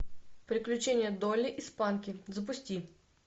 приключения долли и спанки запусти